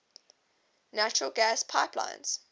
natural gas pipelines